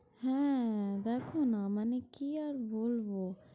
হ্যাঁ দেখো না, মানে কি আর বলবো।